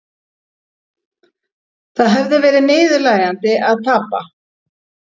Það hefði verið niðurlægjandi að tapa